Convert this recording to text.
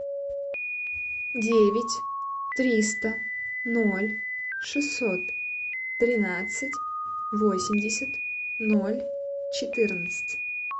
девять триста ноль шестьсот тринадцать восемьдесят ноль четырнадцать